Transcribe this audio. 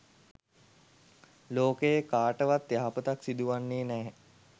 ලෝකයේ කාටවත් යහපතක් සිදුවන්නේ නැහැ.